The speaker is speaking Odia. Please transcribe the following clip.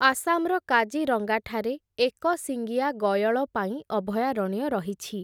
ଆସାମ୍‌ର କାଜିରଙ୍ଗାଠାରେ, ଏକଶିଙ୍ଗିଆ ଗୟଳ ପାଇଁ ଅଭୟାରଣ୍ୟ ରହିଛି ।